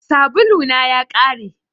Sabulu na ya ƙare